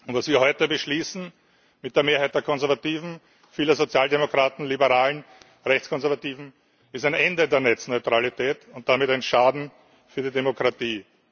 Was wir heute beschließen mit der Mehrheit der Konservativen, vieler Sozialdemokraten und liberaler Rechtskonservativer ist ein Ende der Netzneutralität und damit ein Schaden für die Demokratie.